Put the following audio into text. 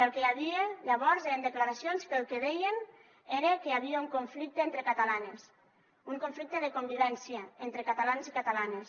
el que hi havia llavors eren declaracions que el que deien era que hi havia un conflicte entre catalanes un conflicte de convivència entre catalans i catalanes